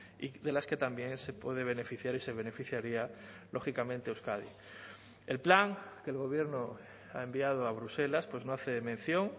y de las que también se puede beneficiar y se beneficiaría lógicamente euskadi el plan que el gobierno ha enviado a bruselas pues no hace mención